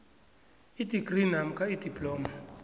idigri namkha idiploma